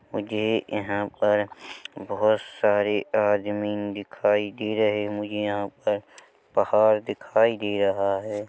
मुझे यहाँ पर बहोत सारे आदमी दिखाई दे रहे मुझे यहाँ पर पहाड़ दिखाई दे रहा है।